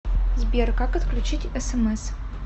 сбер как отключить смс